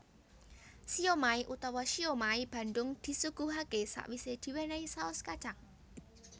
Siomai utawa siomai Bandung disuguhaké sawisé diwénéhi saos kacang